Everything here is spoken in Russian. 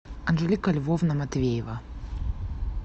анжелика львовна матвеева